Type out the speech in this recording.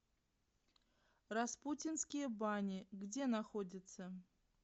распутинские бани где находится